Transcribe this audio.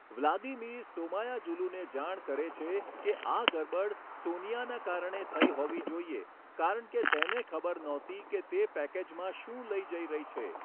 Vladimir સોમાયાજુલુને જાણ કરે છે કે આ ગરબડ સોનિયાના કારણે થઈ હોવી જોઈએ કારણ કે તેને ખબર નહોતી કે તે પેકેજમાં શું લઈ જઈ રહી છે.